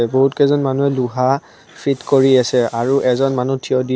বহুত কেইজন মানুহে লোহা ফিট কৰি আছে আৰু এজন মানুহ থিয় দি অ--